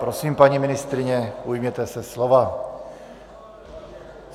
Prosím, paní ministryně, ujměte se slova.